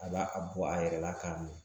A b'a a bɔ a yɛrɛ la k'a m